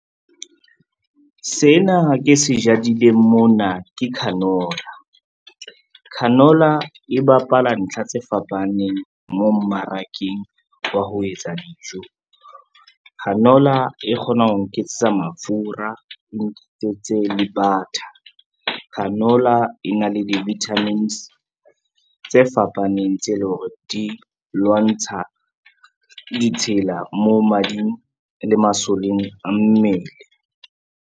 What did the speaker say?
Sena ke se jadileng mona ke canola. Canola e bapala ntlha tse fapaneng mo mmarakeng wa ho etsa dijo. Canola e kgona ho nketsetsa mafura, e nketsetse le butter. Canola e na le di-vitamins tse fapaneng, tse leng hore di lwantsha ditshila mo madi le masoleng a mmele.